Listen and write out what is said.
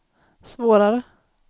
svårare